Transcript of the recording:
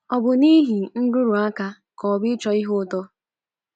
Ọ bụ n’ihi nrụrụ aka ka ọ bụ ịchọ ihe ụtọ?